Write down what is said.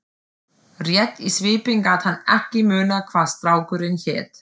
Rétt í svipinn gat hann ekki munað hvað strákurinn hét.